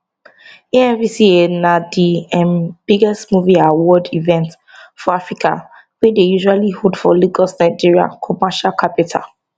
amvca na di um biggest movie award event for africa wey dey usually hold for lagos nigeria commercial capital